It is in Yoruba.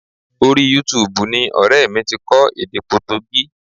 Orí Yútuubù ni ọrẹ mi ti kọ́ èdè Potogí